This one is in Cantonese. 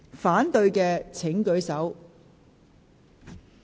反對的請舉手。